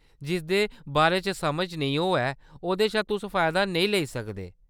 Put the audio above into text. जिसदे बारे च समझ नेईं होऐ ओह्‌‌‌दे शा तुस फायदा नेईं लेई सकदे।